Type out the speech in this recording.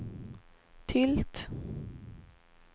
tilt